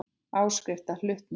Áskrift að hlutum.